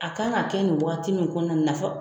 A kan ka kɛ nin waati min kɔnɔna nafa